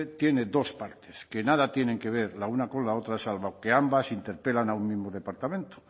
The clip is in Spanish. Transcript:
tiene dos partes que nada tienen que ver la una con la otra salvo que ambas interpelan a un mismo departamento